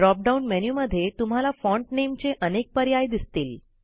drop down मेनूमध्ये तुम्हाला font नेमचे अनेक पर्याय दिसतील